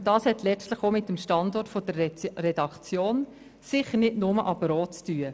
Und das hat letztlich – sicher nicht nur, aber auch – mit dem Standort der Redaktion zu tun.